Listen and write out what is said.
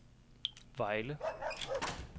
Vejle